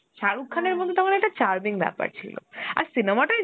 শাহরুখ মধ্যে তখন একটা charming বেপার ছিলো, আর cinema টাই দেখ